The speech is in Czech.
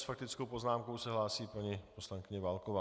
S faktickou poznámkou se hlásí paní poslankyně Válková.